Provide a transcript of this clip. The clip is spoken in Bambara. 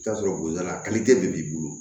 I bi t'a sɔrɔ bolida de b'i bolo